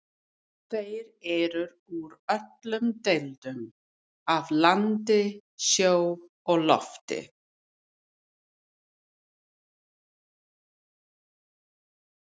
Þeir eru úr öllum deildum, af landi, sjó og lofti.